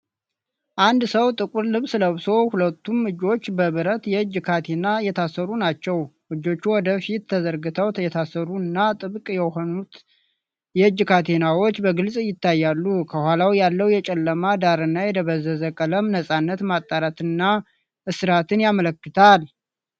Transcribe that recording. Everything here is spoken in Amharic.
አንድ ሰው ጥቁር ልብስ ለብሶ፣ ሁለቱም እጆቹ በብረት የእጅ ካቴና የታሰሩ ናቸው። እጆቹ ወደ ፊት ተዘርግተው የታሰሩ እና፤ ጥብቅ የሆኑት የእጅ ካቴናዎች በግልጽ ይታያሉ። ከኋላ ያለው የጨለመ ዳራና የደበዘዘ ቀለም ነፃነት ማጣትንና እስራትን ያመለክታል።